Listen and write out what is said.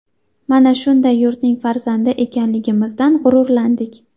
Mana shunday yurtning farzandi ekanligimizdan g‘ururlandik.